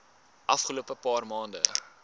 afgelope paar maande